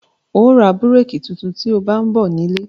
Óò ra búrékì tuntun tí ó bá ń bọ̀ nílé